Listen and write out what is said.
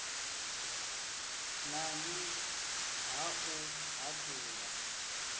n ani ha u haṱula